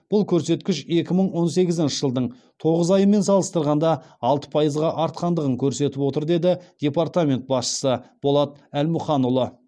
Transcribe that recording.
бұл көрсеткіш екі мың он сегізінші жылдың тоғыз айымен салыстырғанда алты пайызға артқандығын көрсетіп отыр деді департамент басшысы болат әлмұханұлы